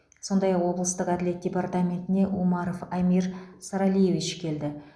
сондай ақ облыстық әділет департаментіне умаров амир саралиевич келді